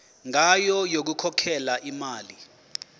ngayo yokukhokhela imali